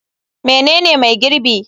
Menene mai girbi?